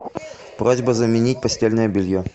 просьба заменить постельное белье